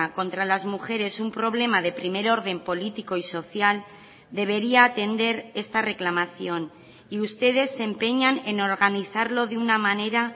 contra las mujeres un problema de primer orden político y social debería atender esta reclamación y ustedes se empeñan en organizarlo de una manera